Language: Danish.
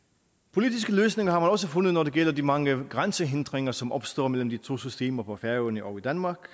politiske løsninger har man også fundet når det gælder de mange grænsehindringer som opstår mellem de to systemer på færøerne og i danmark